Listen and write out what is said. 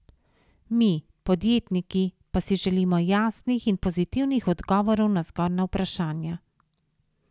Mi, podjetniki, pa si želimo jasnih in pozitivnih odgovorov na zgornja vprašanja.